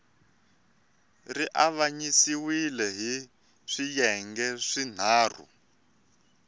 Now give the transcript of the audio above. ri avanyisiwile hi swiyenge swinharhu